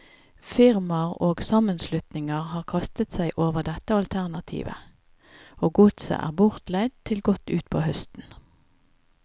Firmaer og sammenslutninger har kastet seg over dette alternativet, og godset er bortleid til godt utpå høsten.